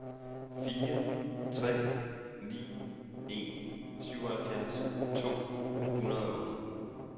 fire tre ni en syvoghalvfjerds to hundrede og otte